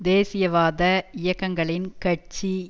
தேசியவாத இயக்கங்களின் கட்சி